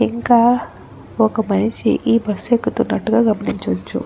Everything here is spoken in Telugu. ఇంకా ఒక మనిషి ఈ బస్సు ఎక్కుతున్నట్టుగా గమనించవచ్చు.